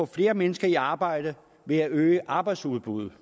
flere mennesker i arbejde ved at øge arbejdsudbuddet